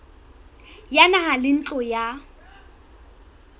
ya naha le ntlo ya